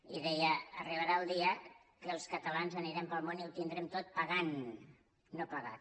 i deia arribarà el dia que els catalans anirem pel món i ho tindrem tot pagant no pagat